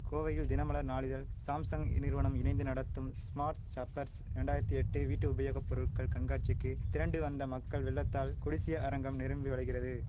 கோவையில் தினமலர் நாளிதழ் சாம்சங் இநிறுவனம் இணைந்து நடத்தும் ஸ்மார்ட் ஷப்பர்ஸ் இரண்டாயிரத்தி எட்டு வீட்டு உபயோக பொருட்கள் கண்காட்சிக்கு திரண்டு வந்த மக்கள் வெள்ளத்தால் கொடிசிய அரங்கம் நிரம்பி வழிகிறது